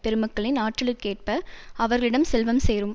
பெருமக்களின் ஆற்றலுக்கேற்ப அவர்களிடம் செல்வம் சேரும்